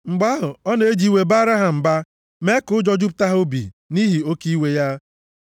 Mgbe ahụ, ọ na-eji iwe baara ha mba mee ka ụjọ jupụta ha obi nʼihi oke iwe ya.